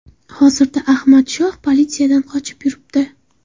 Hozirda Ahmad Shoh politsiyadan qochib yuribdi.